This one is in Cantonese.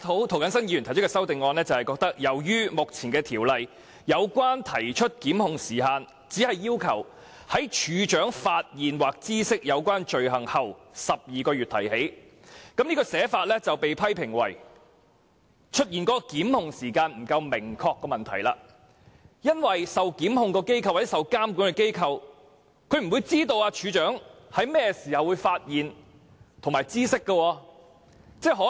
涂謹申議員提出修正案，是由於《條例草案》就提出檢控的時限，只要求在"處長發現或知悉有關罪行後12個月內提起"，這寫法被批評為會出現檢控時間不明確的問題，因為受檢控或受監管的機構不會知道處長甚麼時候會發現或知悉罪行。